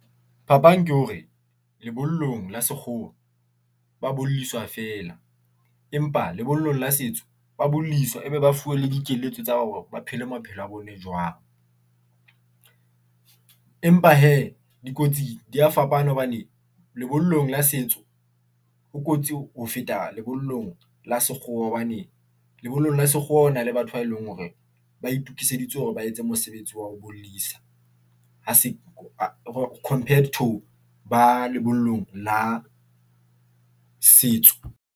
Phapang ke hore, lebollong la sekgowa ba bolliswa fela, empa lebollong la setso ba bolaiswa e be ba fuwe le dikeletso tsa hore ba phele maphelo a bone jwang. Empa hee dikotsi di a fapana hobane lebollong la setso ho kotsi ho feta lebollong la sekgowa hobane lebollong la sekgowa ho na le batho ba e leng hore ba itokiseditse hore ba etse mosebetsi wa ho bollisa ho compared to ba lebollong la setso.